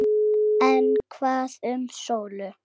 En hvað um Sólu.